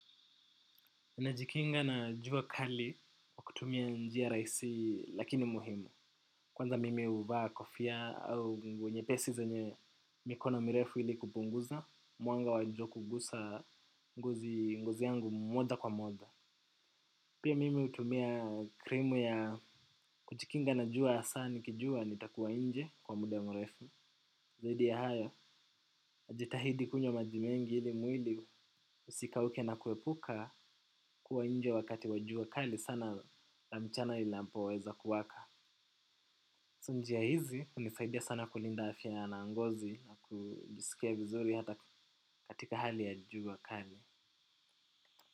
Najikinga na jua kali kutumia njia raisi lakini muhimu. Kwanza mimi huvaa kofia au nguo nyepesi zenye mikono mrefu ili kupunguza. Mwanga wa jua kugusa ngozi ngozi yangu moja kwa moja. Pia mimi hutumia krimu ya kujikinga na jua asa nikijua nitakuwa nje kwa muda mrefu. Zaidi ya haya, najitahidi kunywa maji mengi ili mwili usikauke na kuepuka kuwa nje wakati wa jua kali sana. Na mchana inapoweza kuwaka so njia hizi hunisaidia sana kulinda afya na ngozi na kujisikia vizuri hata katika hali ya jua kali.